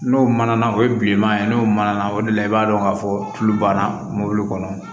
N'o mana na o ye bilenman ye n'o mana na o de la i b'a dɔn k'a fɔ tulu banna mobili kɔnɔ